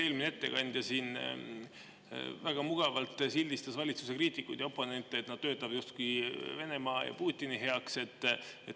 Eelmine ettekandja siin väga mugavalt sildistas valitsuse kriitikuid ja oponente, et nad töötavat justkui Venemaa ja Putini heaks.